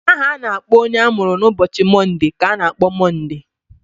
Aha a na-akpọ onye amụrụ n'ụbọchị Monde ka a na-akpọ Monde.